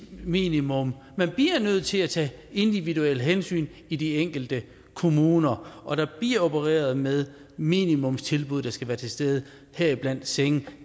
minimum man bliver nødt til at tage individuelle hensyn i de enkelte kommuner og der bliver opereret med minimumstilbud der skal være til stede heriblandt senge